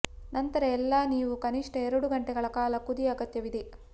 ನಂತರ ಎಲ್ಲಾ ನೀವು ಕನಿಷ್ಟ ಎರಡು ಗಂಟೆಗಳ ಕಾಲ ಕುದಿ ಅಗತ್ಯವಿದೆ